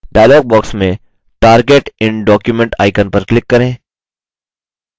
dialog box में target in document icon पर click करें